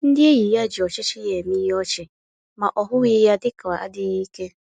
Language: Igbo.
Ndị enyi ya ji ọchịchị ya eme ihe ọchị, ma ọ hụghị ya dịka adịghị ike